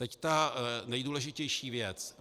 Teď ta nejdůležitější věc.